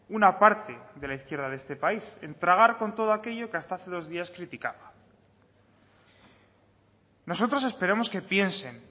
una parte de la izquierda de este país en tragar con todo aquello que hasta hace dos días criticaba nosotros esperamos que piensen